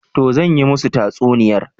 Toh zan yi musu tatsuniyar